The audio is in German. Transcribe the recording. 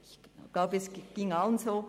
Ich glaube, es ging allen so.